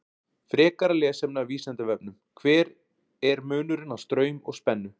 Frekara lesefni af Vísindavefnum: Hver er munurinn á straum og spennu?